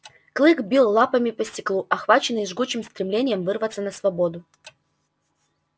клык бил лапами по стеклу охваченный жгучим стремлением вырваться на свободу